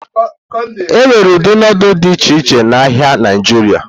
Enwere ụdị nudulu dị iche iche n'ahịa Naijiria.